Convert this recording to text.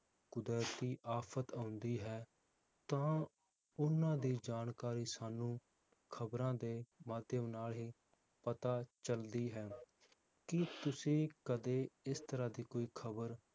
ਕੁਦਰਤੀ ਆਫ਼ਤ ਆਉਂਦੀ ਹੈ ਤਾਂ ਓਹਨਾ ਦੀ ਜਾਣਕਾਰੀ ਸਾਨੂੰ ਖਬਰਾਂ ਦੇ ਮਾਧਿਅਮ ਨਾਲ ਹੀ ਪਤਾ ਚਲਦੀ ਹੈ ਕੀ ਤੁਸੀਂ ਕਦੇ ਇਸ ਤਰਾਹ ਦੀ ਕੋਈ ਖਬਰ